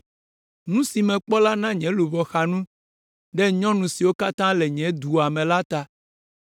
Nu si mekpɔ la na nye luʋɔ xa nu ɖe nyɔnu siwo katã le nye dua me la ta.